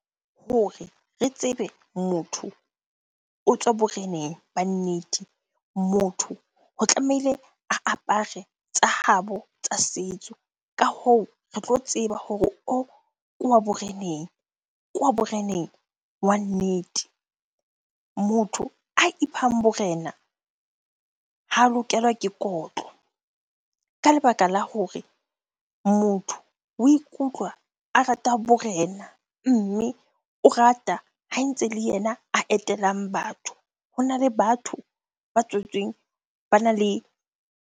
Hore re tsebe motho o tswa boreneng ba nnete. Motho ho tlamehile a apare tsa habo tsa setso. Ka hoo re tlo tseba hore o, ke wa boreneng, ke wa boreneng wa nnete. Motho a iphang borena ha lokelwa ke kotlo ka lebaka la hore motho o ikutlwa a rata borena mme o rata ha ntse le yena a etelang batho. Hona le batho ba tswetsweng bana le .